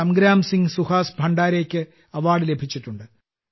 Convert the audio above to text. സംഗ്രാം സിംഗ് സുഹാസ് ഭണ്ഡാരെക്ക് അവാർഡ് ലഭിച്ചിട്ടുണ്ട്